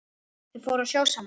Þau fóru á sjó saman.